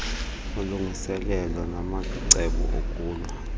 ulungiselelo namacebo okulwa